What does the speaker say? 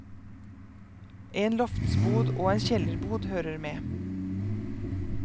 En loftsbod og en kjellerbod hører med.